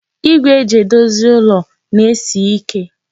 Igwe e ji edozi ụlọ na-esi ike.